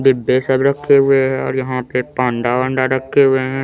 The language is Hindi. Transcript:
बिब्बे सब रखे हुए है और यहाँ पे पांडा वांडा रखे हुए है।